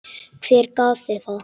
Hver gaf þér það?